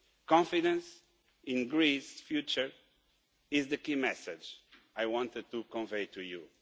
Confidence in Greece's future is the key message I wanted to convey to you.